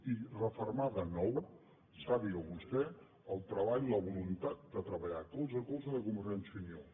i refermar de nou sàpiga vostè el treball la voluntat de treballar colze a colze de convergència i unió